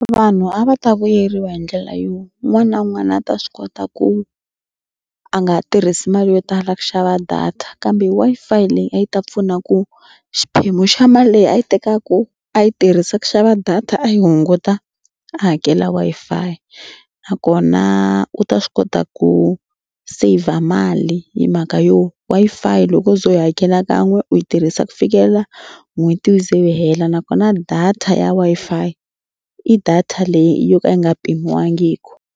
Vanhu a va ta vuyeriwa hi ndlela yo un'wana na un'wana a ta swi kota ku a nga ha tirhisi mali yo tala ku xava data kambe Wi-Fi leyi a yi ta pfuna ku xiphemu xa mali leyi a yi tekaku a yi tirhisa ku xava data a yi hunguta a hakela Wi-Fi nakona u ta swi kota ku saver mali hi mhaka yo Wi-Fi loko wo ze u yi hakela kan'we u yi tirhisa ku fikelela n'hweti yi ze yi hela nakona data ya Wi-Fi i data leyi yo ka yi nga pimiwangiki.